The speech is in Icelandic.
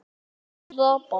Hún hrapar.